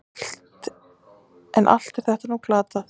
En allt er þetta nú glatað.